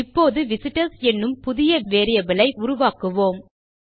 இப்போது விசிட்டர்ஸ் என்னும் புதிய வேரியபிள் ஐ உருவாக்கலாம்